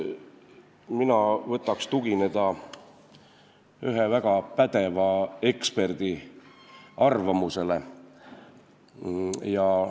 Mina võtaks tugineda ühe väga pädeva eksperdi arvamusele.